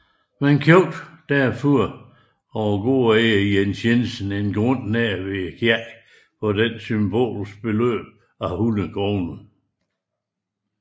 Man købte derfor af gårdejer Jens Jensen en grund nær ved kirken for den symbolske sum af 100 kroner